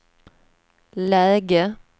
läge